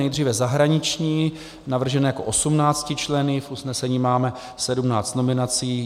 Nejdříve zahraniční, navržen jako 18členný, v usnesení máme 17 nominací.